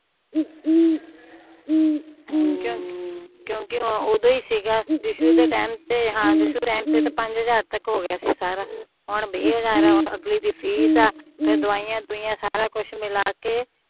ਕਿਉਕਿ ਓਦੋ ਹੀ ਸੀਗਾ ਦਿਸ਼ੂ ਦੇ ਟੈਮ ਤੇ ਦਿਸ਼ੂ ਟੈਮ ਤੇ ਹਾਂ ਪੰਜ ਹਜ਼ਾਰ ਤੱਕ ਹੋਗਿਆ ਸੀਗਾ ਸਾਰਾ ਹੁਣ ਵੀਂ ਹਜ਼ਾਰ ਆ ਅਗਲੀ ਦੀ ਫ਼ੀਸ ਆ ਫੇਰ ਦਵਾਈਆਂ ਦਵਉਈਆਂ ਸਾਰਾ ਕੁਜ ਮਿਲਾ ਕੇ